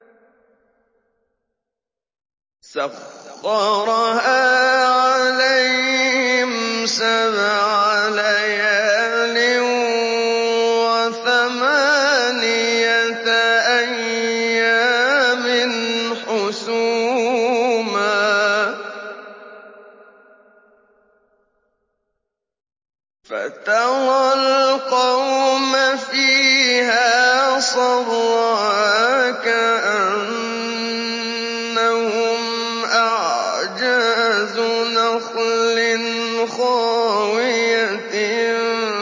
سَخَّرَهَا عَلَيْهِمْ سَبْعَ لَيَالٍ وَثَمَانِيَةَ أَيَّامٍ حُسُومًا فَتَرَى الْقَوْمَ فِيهَا صَرْعَىٰ كَأَنَّهُمْ أَعْجَازُ نَخْلٍ خَاوِيَةٍ